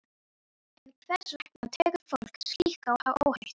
En hvers vegna tekur fólk slíka áhættu?